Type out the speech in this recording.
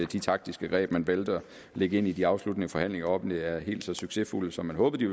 de taktiske greb man valgte at lægge ind i de afsluttende forfatninger offentligt er helt så succesfulde som man håbede de